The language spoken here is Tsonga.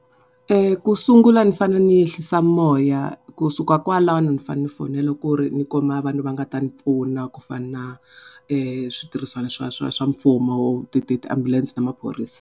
Ku sungula ni fane ni ehlisa moya kusuka kwalano ni fane ni fonela ku ri ndzi kuma vanhu va nga ta ni pfuna ku fana na switirhisano swa swa swa mfumo ti ti ti-ambulance na maphorisa.